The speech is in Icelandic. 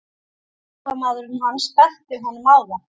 Aðstoðarmaðurinn hans benti honum á það.